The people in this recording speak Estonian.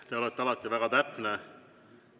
Te olete alati väga täpne.